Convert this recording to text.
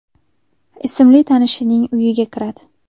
ismli tanishining uyiga kiradi.